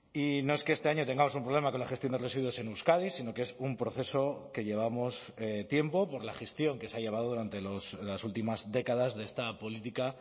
y no es que este año tengamos un problema con la gestión de residuos en euskadi sino que es un proceso que llevamos tiempo por la gestión que se ha llevado durante las últimas décadas de esta política